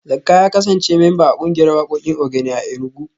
Zakka ya kasance memba a kungiyar wakokin Ogene a Enugu